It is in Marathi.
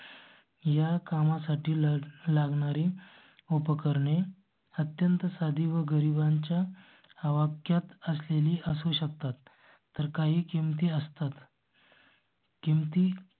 या कामासाठी लागणारी उपकरणे अत्यंत साधी व गरिबांच्या ह वापरात असलेली असू शकतात तर काही किंमती असतात. किमती